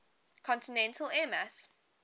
continental air mass